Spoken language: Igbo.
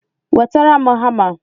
Wetara m hama!